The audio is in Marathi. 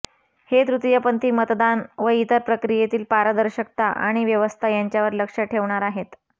हे तृतीयपंथी मतदान व इतर प्रक्रियेतील पारदर्शकता आणि व्यवस्था यांच्यावर लक्ष ठेवणार आहेत